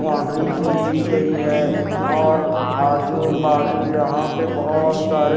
boundary खींची गयी है और अः जो बाजु यहाँ पे बहोत सारे--